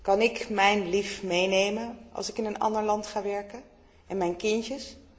Kan ik mijn lief meenemen als ik in een ander land ga werken, en mijn kindjes?